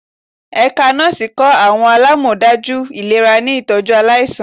Ẹka Nọọsi kọ awọn alamọdaju ilera ni itọju alaisan